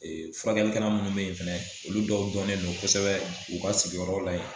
furakɛlikɛla minnu bɛ ye fana olu dɔw dɔnnen no kosɛbɛ u ka sigiyɔrɔ la yen.